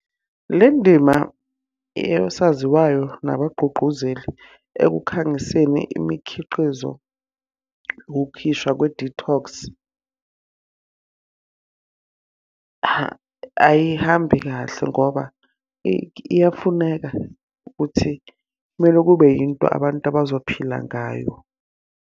Le ndima, yosaziwayo nabagqugquzeli ekukhangiseni imikhiqizo wokukhishwa kwe-detox, ayihambi kahle ngoba iyafuneka ukuthi kumele kube yinto abantu abazophila ngayo.